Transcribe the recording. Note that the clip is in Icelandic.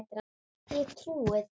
Ég trúi þér